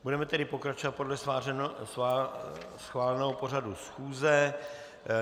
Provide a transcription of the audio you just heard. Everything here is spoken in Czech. Budeme tedy pokračovat podle schváleného pořadu schůze.